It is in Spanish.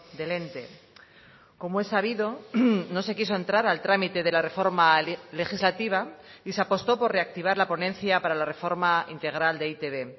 del ente como es sabido no se quiso entrar al trámite de la reforma legislativa y se apostó por reactivar la ponencia para la reforma integral de e i te be